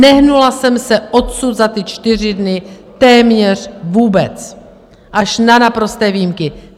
Nehnula jsem se odsud za ty čtyři dny téměř vůbec, až na naprosté výjimky.